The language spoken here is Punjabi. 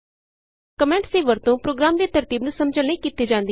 ਕੋਮੈਂਟਸ ਦੀ ਵਰਤੋਂ ਪ੍ਰੋਗਰਾਮ ਦੀ ਤਰਤੀਬ ਨੂੰ ਸਮਝਣ ਲਈ ਕੀਤੀ ਜਾਂਦੀ ਹੈ